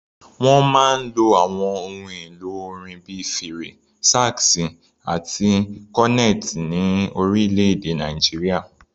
Wọ́n máa ń lo àwọn ohun èlò orin bíi fèrè, sax àti cornet ní orílẹ̀-èdè Nàìjíríà.